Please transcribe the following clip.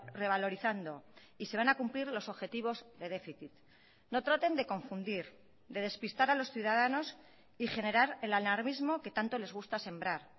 revalorizando y se van a cumplir los objetivos de déficit no traten de confundir de despistar a los ciudadanos y generar el alarmismo que tanto les gusta sembrar